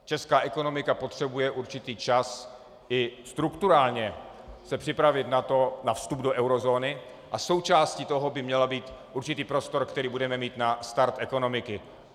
Česká ekonomika potřebuje určitý čas i strukturálně se připravit na vstup do eurozóny a součástí toho by měl být určitý prostor, který budeme mít na start ekonomiky.